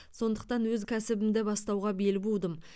сондықтан өз кәсібімді бастауға бел будым